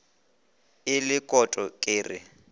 e le kokoto ke re